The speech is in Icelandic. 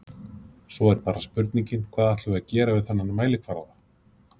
Svo er bara spurningin hvað ætlum við að gera við þennan mælikvarða?